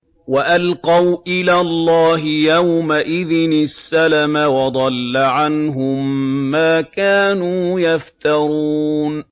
وَأَلْقَوْا إِلَى اللَّهِ يَوْمَئِذٍ السَّلَمَ ۖ وَضَلَّ عَنْهُم مَّا كَانُوا يَفْتَرُونَ